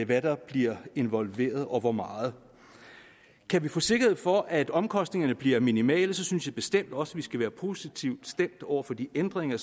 hvad der bliver involveret og hvor meget kan vi få sikkerhed for at omkostningerne bliver minimale så synes jeg bestemt også at vi skal være positivt stemt over for de ændringer